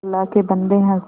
अल्लाह के बन्दे हंस दे